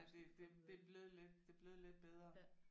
Ej det det det er blevet lidt det er blevet lidt bedre